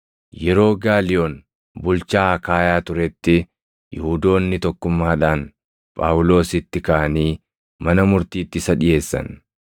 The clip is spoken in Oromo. Yeroo Gaaliyoon bulchaa Akaayaa turetti Yihuudoonni tokkummaadhaan Phaawulositti kaʼanii mana murtiitti isa dhiʼeessan.